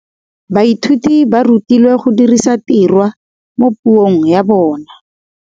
Baithuti ba rutilwe go dirisa tirwa mo puong ya bone.